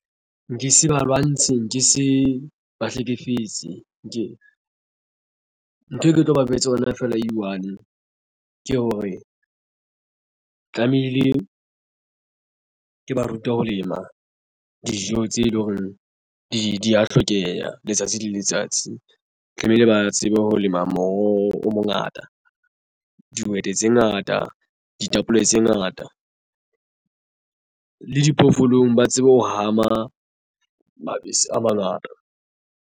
Nke se ba lwantshe nke se ba hlekefetse ntho e ke tlo ba jwetsa yona feela e one ke hore tlamehile ke ba ruta ho lema dijo tse leng hore di ya hlokeha letsatsi le letsatsi tlamehile ba tsebe ho lema moroho o mongata dihwete tse ngata, ditapole tse ngata le diphoofolong ba tsebe ho hama mabese a mangata.